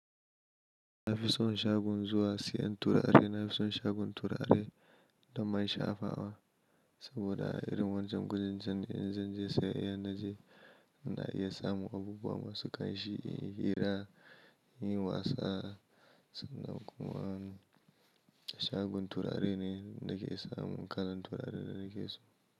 Na fi son shagon zuwa siyan turare, nafi son shagon turare. Da man shafawa saboda irin wancan kujun can in zan je saya idan na je, ina iya samun abubuwa masu ƙanshi, in yi hira, in yi wasa sannan kuma shagon turare ne na ke samun kalan turaren da nake so.